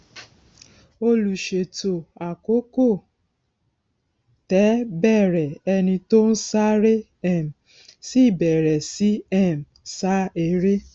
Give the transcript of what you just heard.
olùṣètò àkókò tẹ bẹrẹ ẹni tó ń sáré um sì bèrè sì um sa eré